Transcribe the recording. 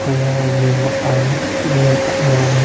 ओर यहां जिम है.